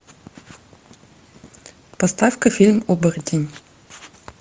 поставь ка фильм оборотень